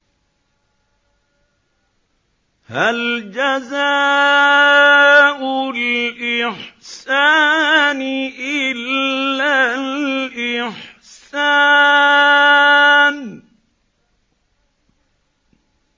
هَلْ جَزَاءُ الْإِحْسَانِ إِلَّا الْإِحْسَانُ